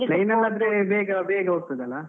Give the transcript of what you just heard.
Train ಅಲ್ಲಾದ್ರೆ ಬೇಗ ಬೇಗ ಹೋಗ್ತದಲ್ಲ.